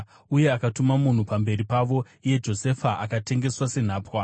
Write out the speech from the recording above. uye akatuma munhu pamberi pavo, iye Josefa, akatengeswa senhapwa.